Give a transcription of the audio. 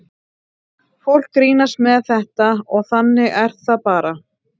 Fólk grínast með þetta og þannig er það bara.